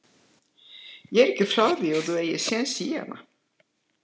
Ég er ekki frá því að þú eigir séns í hana.